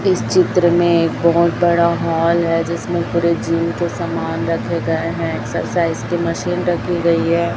इस चित्र में एक बहोत बड़ा हॉल है जिसमें पूरे जिम के समान रखे गए हैं एक्सरसाइज की मशीन रखी गई है।